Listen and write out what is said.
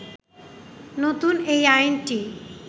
নতুন এই আইনটি